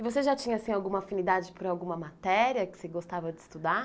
E você já tinha, assim, alguma afinidade por alguma matéria que você gostava de estudar?